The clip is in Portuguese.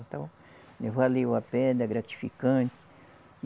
Então, valeu a pena, gratificante.